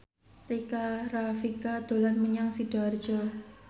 Rika Rafika dolan menyang Sidoarjo